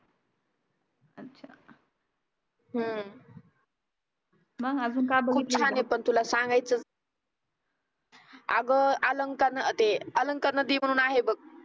अगं अलंकरन ते अलंकरन दीप म्हणून आहे बघ